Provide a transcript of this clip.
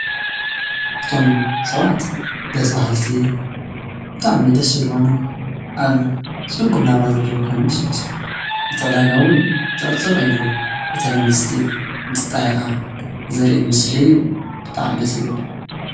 እቶም ሰባት ደስ በሃልቲ ብጣዕሚ ደስ ዝብሉ ኾይኖም አብ ፅጉም ናብራ ኾይኖም ዘለው ይመስሉ። እቲ ዕዳጋ እውን ፅዕፅዕ ኢሉ እተን አንስቲ እንትጣየቃ ዘርኢ ምስሊ እዩ። ብጣዕሚ ደስ ይብል።